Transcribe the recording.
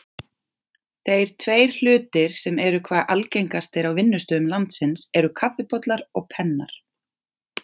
Þeir tveir hlutir sem eru hvað algengastir á vinnustöðum landsins eru kaffibollar og pennar.